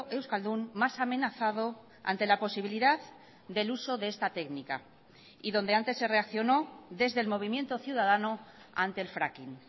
euskaldun más amenazado ante la posibilidad del uso de esta técnica y donde antes se reaccionó desde el movimiento ciudadano ante el fracking